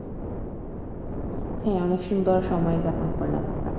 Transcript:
হ্যাঁ অনেক সুন্দর সময় যাপন করলাম আমরা।